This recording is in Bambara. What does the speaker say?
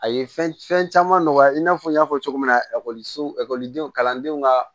A ye fɛn fɛn caman nɔgɔya i n'a fɔ n y'a fɔ cogo min na ekɔliso ekɔlidenw kalandenw ka